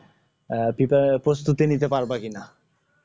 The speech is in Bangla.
আহ পিপার প্রস্তুতি নিতে পারব